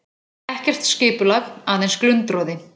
Ekkert skipulag, aðeins glundroði.